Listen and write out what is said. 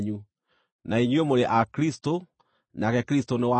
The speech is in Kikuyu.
na inyuĩ mũrĩ a Kristũ, nake Kristũ nĩ wa Ngai.